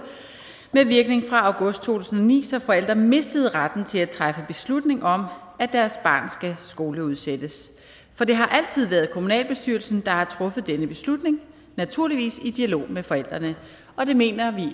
med virkning fra august to tusind og ni så forældre mistede retten til at træffe beslutning om at deres barn skal skoleudsættes for det har altid været kommunalbestyrelsen der har truffet denne beslutning naturligvis i dialog med forældrene og vi mener